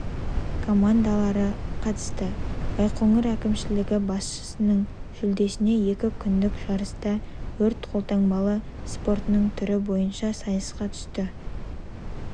командалары қатысты байқоңыр әкімшілігі басшысының жүлдесіне екі күндік жарыста өрт-қолтанбалы спортының түрі бойынша сайысқа түсті